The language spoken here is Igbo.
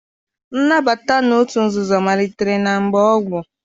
Nnabata n'otu nzuzo malitere na mgbe gboo.